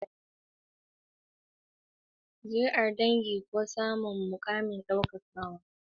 Zuriyar dangi ko samun muƙamin girmamawa sune abubuwan da ake buƙata don ɗaukar taken.